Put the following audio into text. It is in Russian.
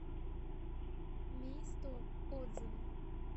ми стор отзывы